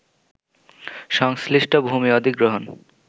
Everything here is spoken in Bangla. সংশ্লিষ্ট ভূমি অধিগ্রহণ